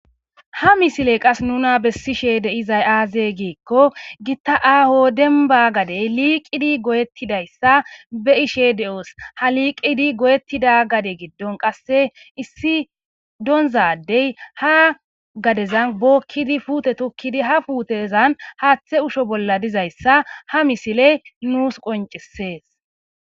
Ha misile qas nuna bessishe de'izay aaze giikko gitta aaho dembba gadey liiqidi goyettidayssa be'ishe de7oos. Ha liiqidi goyettida gade giddon qasse issi doonza addey ha gadezan bookkidi puute tokkidi ha puutezan haaththe usho bolla dizayssa ha misile nuus qonccissees.